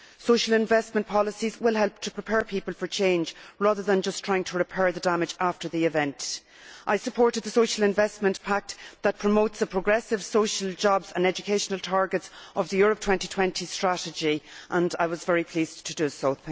Social investment policies will help to prepare people for change rather than just trying to repair the damage after the event. I supported the Social Investment Pact, which promotes the progressive social, jobs and educational targets of the Europe 2020 strategy, and I was very pleased to do so.